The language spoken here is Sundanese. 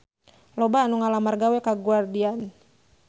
Loba anu ngalamar gawe ka Guardian